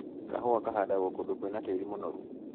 Kahua kahandagwo kũndũ kwĩna tĩri mũnoru.